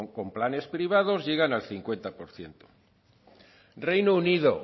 con planes privados llegan al cincuenta por ciento reino unido